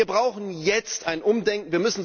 Wir brauchen jetzt ein Umdenken.